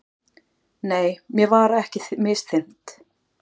Nei, mér var ekki misþyrmt.